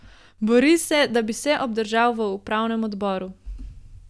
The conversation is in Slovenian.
Bori se, da bi se obdržal v upravnem odboru.